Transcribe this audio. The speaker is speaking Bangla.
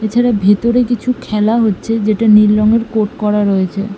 এছাড়া ভেতরে কিছু খেলা হচ্ছে যেটা নীল রঙের কোট করা রয়েছে।